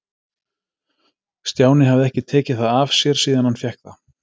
Stjáni hafði ekki tekið það af sér síðan hann fékk það.